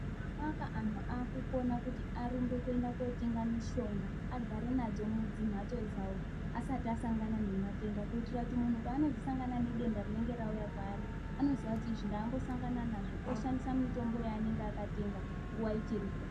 Nyamwanga anhu akukona kuti arumbe kotenga mishonga agare nadzo mudzimhatso dzawo asati asangana nematenda kuitira kuti munhu oaanozosangana nedenda rinenge rauya kwaari anoziya kuti izvi ndakambosamgana nazvo oshandisa mitombo yavanenge akatenga nguwa ichiripo.